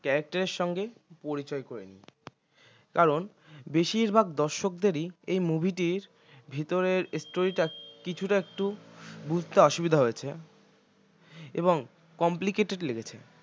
character এর সঙ্গে পরিচয় করে নিই কারণ বেশিরভাগ দর্শকদেরই এই movie টির ভিতরের story টা কিছুটা একটু বুঝতে অসুবিধা হয়েছে এবং complicated লেগেছে